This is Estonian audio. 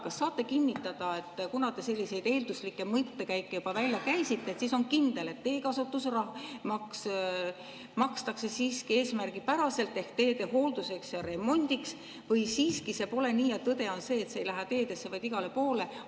Kas saate kinnitada, et kuna te selliseid eelduslikke mõttekäike juba välja käisite, siis on kindel, et teekasutusmaksust siiski eesmärgipäraselt ehk teede hoolduseks ja remondiks, või siiski see pole nii ja tõde on see, et see ei lähe teedesse, vaid igale poole?